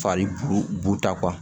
Fari buta